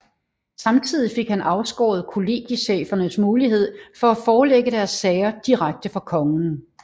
Samtidig fik han afskåret kollegiechefernes mulighed for at forelægge deres sager direkte for kongen